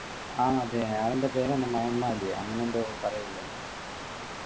ആഹ് അതെ അവൻ്റെ പേരാണ് മയന്മാര് അങ്ങനെ എന്തോ പറയില്ലേ